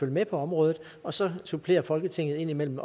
med på området og så supplerer folketinget indimellem